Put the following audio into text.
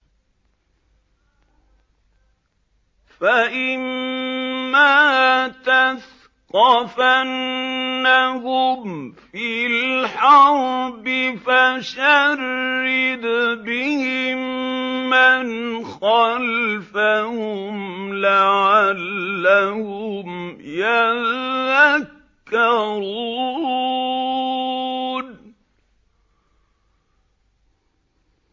فَإِمَّا تَثْقَفَنَّهُمْ فِي الْحَرْبِ فَشَرِّدْ بِهِم مَّنْ خَلْفَهُمْ لَعَلَّهُمْ يَذَّكَّرُونَ